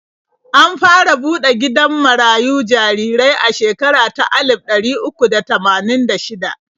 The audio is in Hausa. An fara buɗe gidan marayun jarirai a shekara ta alif ɗari uku da tamanin da shida.